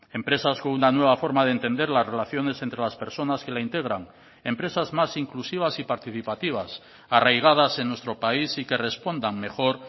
empresas con una nueva forma de entender las relaciones entre las personas que la integran empresas más inclusivas y participativas arraigadas en nuestro país y que respondan mejor